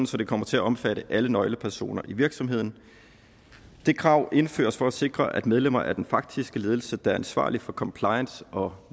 så den kommer til at omfatte alle nøglepersoner i virksomheden det krav indføres for at sikre at medlemmer af den faktiske ledelse der er ansvarlig for compliance og